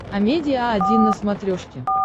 амедиа один на смотрешке